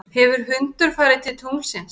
hefur hundur farið til tunglsins